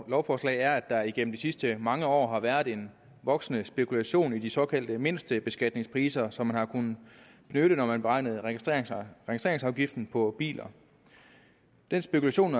lovforslag er at der igennem de sidste mange år har været en voksende spekulation i de såkaldte mindstebeskatningspriser som man har kunnet benytte når man beregnede registreringsafgiften på biler den spekulation